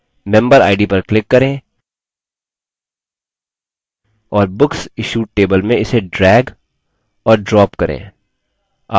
members table में member id पर click करें और books issued table में इसे drag और drop करें